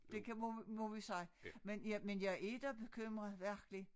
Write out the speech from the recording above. Det kan må må vi sige men jeg men jeg er da bekymret virkelig